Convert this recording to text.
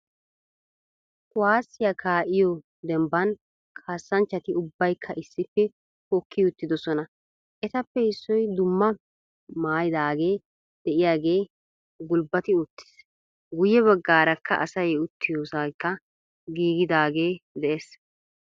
Kuwaassiya kaa"iyoo dembban kaasanchchati ubbaykka issippe hokki uttidosona. Etappe issoy dumma maayidaage de"iyaagee gulbbati uttis. Guyye baggaarakka asay uttiyoosaykka giigidaagee de'ees.